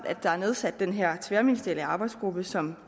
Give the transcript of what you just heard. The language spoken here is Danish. at der er nedsat den her tværministerielle arbejdsgruppe som